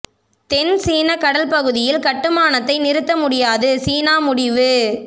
தென் சீனக் கடல் பகுதியில் கட்டுமானத்தை நிறுத்த முடியாது சீனா முடிவு